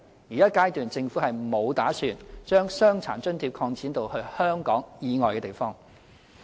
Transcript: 現階段政府沒有打算把傷殘津貼擴展至香港以外的地方。